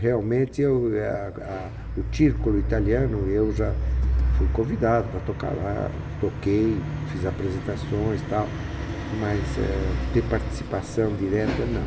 Realmente, é o eh a a o círculo italiano, eu já fui convidado para tocar lá, toquei, fiz apresentações, tal, mas eh ter participação direta, não.